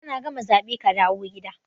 Kana gama zabe kadawo gida.